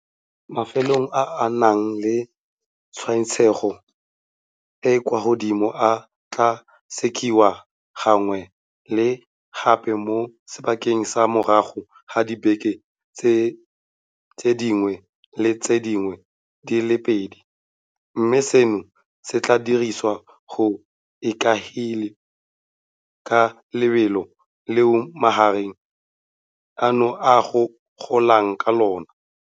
Mafelo a a nang le tshwaetsego e e kwa godimo a tla sekasekiwa gangwe le gape mo sebakeng sa morago ga dibeke tse dingwe le tse dingwe di le pedi, mme seno se tla diriwa go ikaegilwe ka lebelo leo mogare ono o golang ka lona.